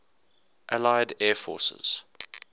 allied air forces